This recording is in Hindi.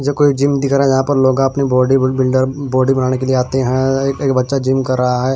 कोई जिम नहीं है यहां पर लोग अपनी बॉडी बिल्डर बॉडी बनाने के लिए आते हैं एक बच्चा जिम कर रहा है।